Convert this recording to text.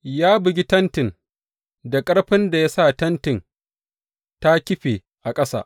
Ya bugi tentin da ƙarfin da ya sa tenti ta kife a ƙasa.